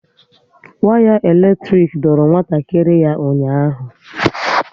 Waya elektrik doro nwatakịrị ya ụnyaahụ